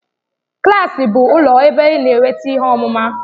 Klaasị bụ ụlọ ebe ị na-enweta ihe ọmụma.